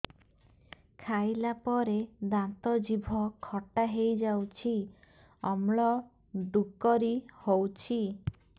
ଖାଇଲା ପରେ ଦାନ୍ତ ଜିଭ ଖଟା ହେଇଯାଉଛି ଅମ୍ଳ ଡ଼ୁକରି ହଉଛି